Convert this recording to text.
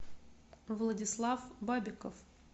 владислав бабиков